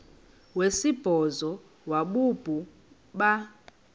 wesibhozo wabhu bha